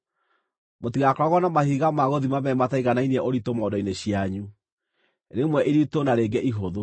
Mũtigaakoragwo na mahiga ma gũthima meerĩ mataiganainie ũritũ mondo-inĩ cianyu, rĩmwe iritũ na rĩngĩ ihũthũ.